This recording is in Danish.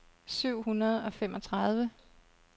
syv hundrede og femogtredive